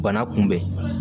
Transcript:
Bana kunbɛn